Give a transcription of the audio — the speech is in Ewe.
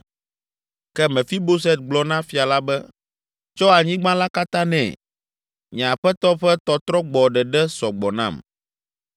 Ke Mefiboset gblɔ na fia la be, “Tsɔ anyigba la katã nɛ: nye aƒetɔ ƒe tɔtrɔgbɔ ɖeɖe sɔ gbɔ nam!”